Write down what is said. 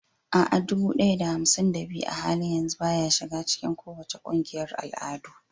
A'a, dubu ɗaya da hamsin da biyu a halin yanzu baya shiga cikin kowace ƙungiyar al'adu.